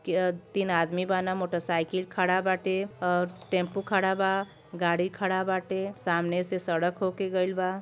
ऐजा तीन आदमी बाड़न। मोटरसाइकिल खड़ा बाटे टेम्पू खड़ा बा गाड़ी खड़ा बाटे सामने से सड़क हो के गइल बा।